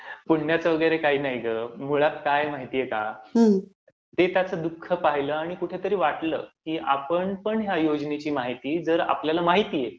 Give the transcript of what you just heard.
पुण्याचं वगैरे काही नाही गं. जुळत काय आहे माहित आहे का? ते त्याचं दुःख पाहिलं आणि कुठंतरी वाटलं की आपण पण जर ह्या योजनेची माहिती जर आपल्याला माहित आहे